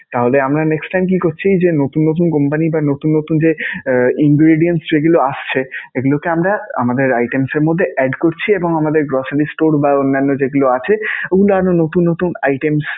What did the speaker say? তাহলে আমরা next time কি করছি যে, নতুন নতুন company বা নতুন নতুন যে ingredience যেগুলো আসছে এগুলোকে আমরা আমাদের items এর মধ্যে add করছি এবং আমাদের grocery store বা অন্যান্য যেগুলো আছে ওগুলা আরও নতুন নতুন items